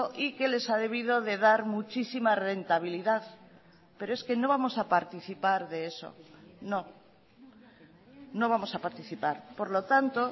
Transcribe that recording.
y que les ha debido de dar muchísima rentabilidad pero es que no vamos a participar de eso no no vamos a participar por lo tanto